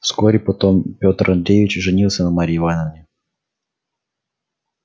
вскоре потом петр андреевич женился на марье ивановне